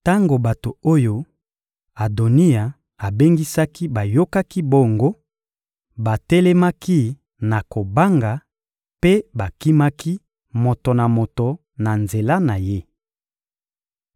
Tango bato oyo Adoniya abengisaki bayokaki bongo, batelemaki na kobanga mpe bakimaki moto na moto na nzela na ye.